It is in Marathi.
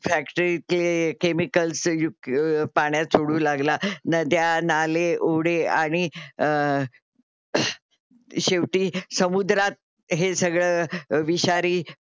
फॅक्ट्रीतले केमिकल सयुक पाण्यात सोडू लागला. नद्या, नाले, ओढे आणि अ शेवटी समुद्रात हे सगळं विषारी